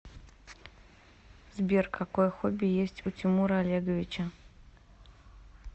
сбер какое хобби есть у тимура олеговича